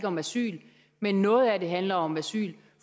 om asyl men noget af det handler om asyl